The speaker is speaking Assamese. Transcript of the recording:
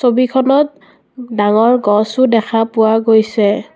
ছবিখনত ডাঙৰ গছো দেখা পোৱা গৈছে।